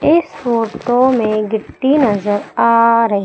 इस फोटो में गिट्टी नजर आ रही--